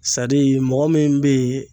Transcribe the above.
mɔgɔ min bɛ ye